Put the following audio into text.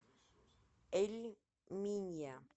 эль минья